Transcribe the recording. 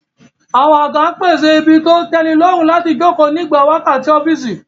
Àwọn àga ń pèsè ibi tó tẹ́nilọ́rùn láti jókòó nígbà wákàtí ọ́fíìsì